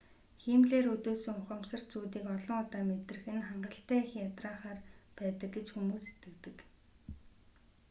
хиймлээр өдөөсөн ухамсарт зүүдийг олон удаа мэдрэх нь хангалттай их ядраахаар байдаг гэж зарим хүмүүс итгэдэг